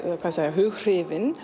hughrifin